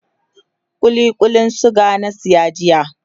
kulli Kullin suga na saya jiya